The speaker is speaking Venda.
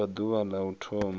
vha ḓuvha la u thoma